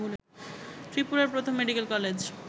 ত্রিপুরার প্রথম medical college